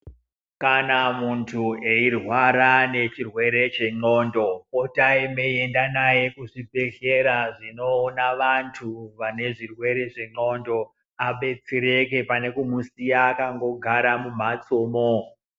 Kana muntu eirwara ngechirwere chendxondo, potai meiende naye kuzvibhedhlera zvinoona vantu vane zvirwere zvendxondo adetsereke pane kundomusiya akandogara mumhatsomo.